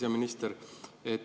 Hea minister!